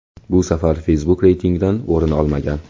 Bu safar Facebook reytingdan o‘rin olmagan.